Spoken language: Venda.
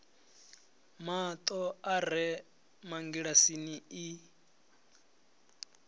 mato a re mangilasini i